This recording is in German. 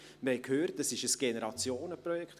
Wir haben gehört, es sei ein Generationenprojekt.